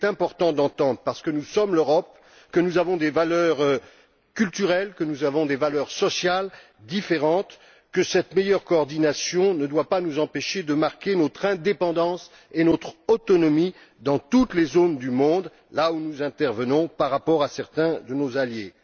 Mais il est important d'entendre parce que nous sommes l'Europe et que nous avons des valeurs culturelles et sociales différentes que cette meilleure coordination ne doit pas nous empêcher de marquer notre indépendance et notre autonomie dans toutes les zones du monde, là où nous intervenons, vis à vis de certains de nos alliés.